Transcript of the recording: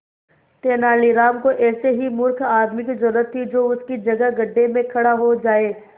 तेनालीराम को ऐसे ही मूर्ख आदमी की जरूरत थी जो उसकी जगह गड्ढे में खड़ा हो जाए